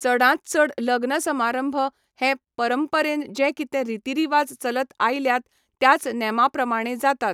चडांत चड लग्न सभारंभ हे परंपरेन जे कितें रिती रिवाज चलत आयल्यात त्याच नेमा प्रमाणें जातात.